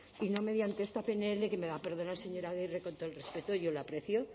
y no mediante esta pnl que me va a perdonar señora agirre con todo el respeto y yo lo aprecio